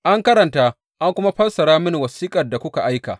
An karanta, an kuma fassara mini wasiƙar da kuma aika.